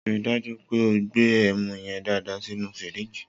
Ri dàjú pẹ ò gbe ẹmú yen dàdá sínù fírìgí